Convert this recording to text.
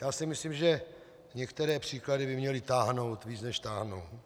Já si myslím, že některé příklady by měly táhnout víc, než táhnou.